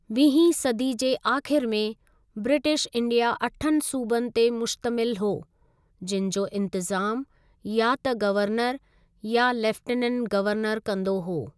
वीहीं सदी जे आख़िर में, ब्रिटिश इंडिया अठनि सूबनि ते मुश्तमिल हो, जिनि जो इंतिज़ामु या त गवर्नर या लेफ्टिनेंट गवर्नर कंदो हो।